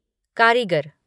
कारीगर